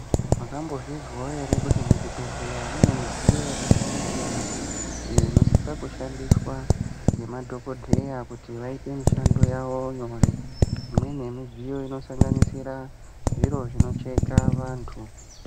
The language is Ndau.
Makambo zvinzwawo ere kuti mu zvibhedhlera mune mudziyo yaka siyana siyana iyo ino sisa kushandiswa ne madhokoteya kuti vaite mishando yavo nyore imweni ye midziyo ino sanganisire zviro zvino cheka vantu.